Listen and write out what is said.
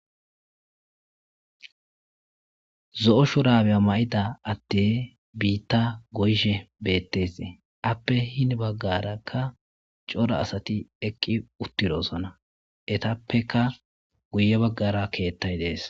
zo7o shurabeya ma7ida adey biitta goyshe bettesee appe hini baggarakka cora asati eqqi uttidoosona etappeka guye baggara keettay dees